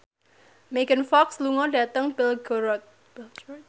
Megan Fox lunga dhateng Belgorod